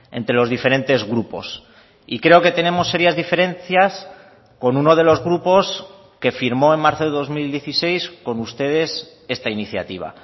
entre los diferentes grupos y creo que tenemos serias diferencias con uno de los grupos que firmó en marzo de dos mil dieciséis con ustedes esta iniciativa